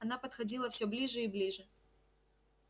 она подходила все ближе и ближе